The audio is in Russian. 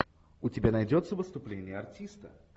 у тебя найдется выступление артиста